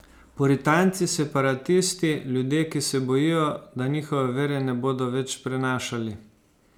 Puritanci, separatisti, ljudje, ki se bojijo, da njihove vere ne bodo več prenašali.